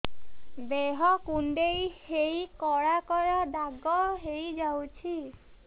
ଦେହ କୁଣ୍ଡେଇ ହେଇ କଳା କଳା ଦାଗ ହେଇଯାଉଛି